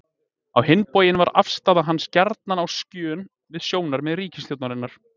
Á hinn bóginn var afstaða hans gjarnan á skjön við sjónarmið ríkisstjórnarinnar.